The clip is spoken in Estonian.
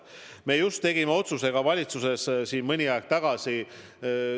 Me just mõni aeg tagasi tegime valitsuses otsuse.